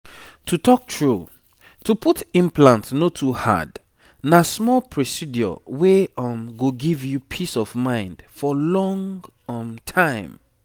to talk true to put implant no too hard na small procedure wey um go give you peace of mind for long um time